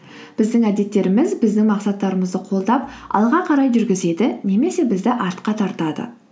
біздің әдеттеріміз біздің мақсаттарымызды қолдап алға қарай жүргізеді немесе бізді артқа тартады